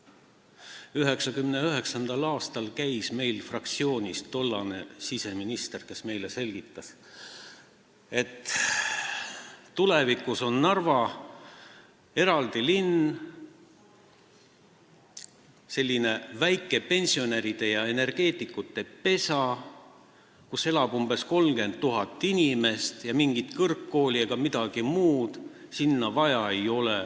1999. aastal käis meil fraktsioonis tollane siseminister, kes meile selgitas, et tulevikus on Narva eraldi linn, selline väike pensionäride ja energeetikute pesa, kus elab umbes 30 000 inimest, ja mingit kõrgkooli ega midagi muud sinna vaja ei ole.